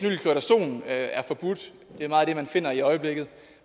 ja at er forbudt det er meget det man finder i øjeblikket